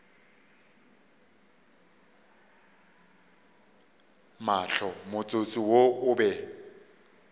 mahlo motsotso wo o be